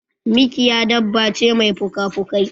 Mikiya dabba ce mai puka pukai.